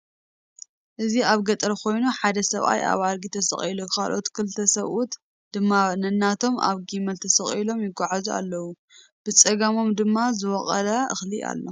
እዚ አብ ገጠር ኮይኑ ሓደ ሰብኣይ አብ አድጊ ተሰቂሉ ካለኦት ክልተ ሰብኡት ድማ ነናቶም አብ ጊማል ተሰቂሎም ይጓዓዙ አለዉ፡፡ ብፀጋሞም ድማ ዝወቀለ እክሊ አሎ፡፡